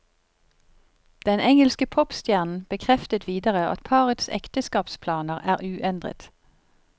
Den engelske popstjernen bekreftet videre at parets ekteskapsplaner er uendret.